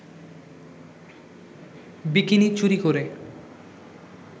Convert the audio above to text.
bikini চুরি করে